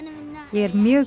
ég er mjög